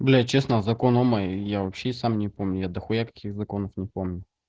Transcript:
бля честно закон ома я вообще сам не помню я дахуя каких законов не помню